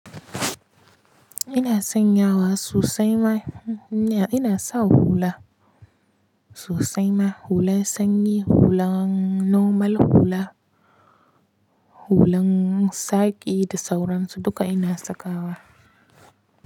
Ina sanya wa sosai ma, ina sa hula sosai ma, hulan sanyi, hula, normal hula, hulan saki da sauransu duka ina sakawa.